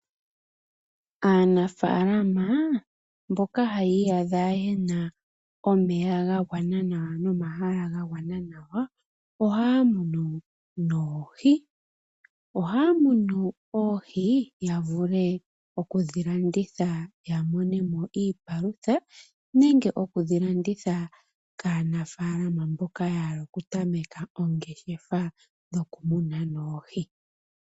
Aanafalama mboka haya iyadha yena omeya ga gwana nawa no mahala ga gwana nawa ohaya munu oohi. Ohaya munu oohi ya vule okudhi landitha ya monemo iipalutha nenge okudhi landitha kaanafalama mboka ya hala oku tameka oongeshefa dhoku muna noohi.